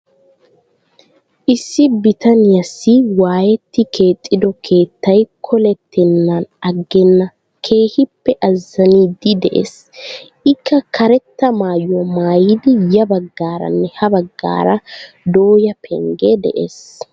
Issi bitaniyaassi waayetti keexxido keettay kollettenan agenna keehippe azaniidi de'ees. ikka karetta maayuwaa maayidi ya baggaaranne ha baggaara dooya pengge de'ees.